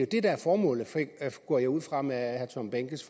det der er formålet går jeg ud fra med herre tom behnkes